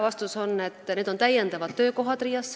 Vastus on, et need on täiendavad töökohad RIA-s.